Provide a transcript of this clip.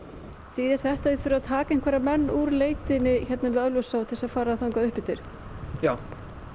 þýðir þetta að þið þurfið að taka einhverja menn úr leitinni hérna við Ölfusá til þess að fara upp eftir já